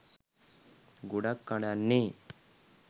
ගොඩක් අඬන්නෙ